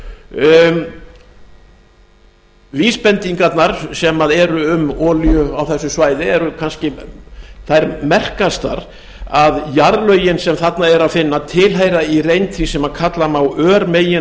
náttúruhrjósturs vísbendingarnar sem eru um olíu á þessu svæði eru kannski þær merkastar að jarðlögin sem þarna er að finna tilheyra í reynd því sem kalla má